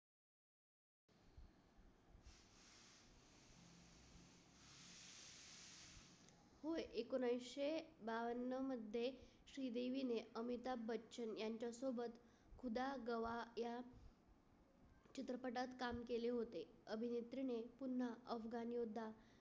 एकोनिशे बावन्न मध्ये श्रीदेवीने अमिताभ बच्चन यांच्यासोबत खुदागवा या चित्रपटात काम केले होते. अभिनेत्रीने पुन्हा अफगान युद्ध